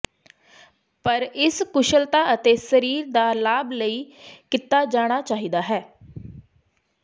ਪਰ ਇਸ ਕੁਸ਼ਲਤਾ ਅਤੇ ਸਰੀਰ ਦੇ ਲਾਭ ਲਈ ਕੀਤਾ ਜਾਣਾ ਚਾਹੀਦਾ ਹੈ